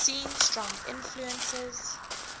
seen strong influences